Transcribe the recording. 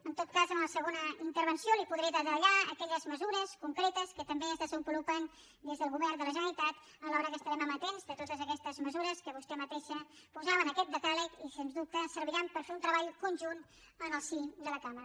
en tot cas en la segona intervenció li podré detallar aquelles mesures concretes que també es desenvolupen des del govern de la generalitat alhora que estarem amatents a totes aquestes mesures que vostè mateixa posava en aquest decàleg i sense dubte serviran per fer un treball conjunt en el si de la cambra